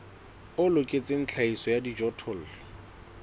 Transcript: o loketseng tlhahiso ya dijothollo